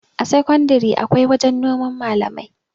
a sakandare akwai wajen noman malamai